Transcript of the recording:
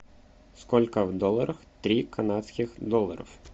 сколько в долларах три канадских долларов